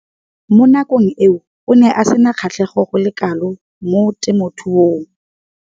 Mo nakong eo o ne a sena kgatlhego go le kalo mo temothuong.